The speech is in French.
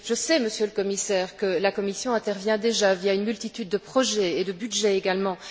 Je sais, Monsieur le Commissaire, que la Commission intervient déjà, via une multitude de projets et de budgets également.